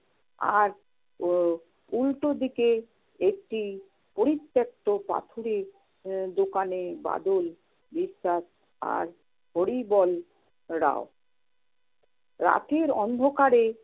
আর উ~ উল্টো দিকে একটি পরিত্যাক্ত পাথুরে আহ দোকানে বাদল বিশ্বাস আর হরিবল রাও, রাতের অন্ধকারে